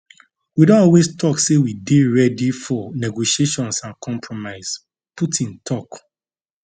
we don always tok say we dey ready for negotiations and compromise putin tok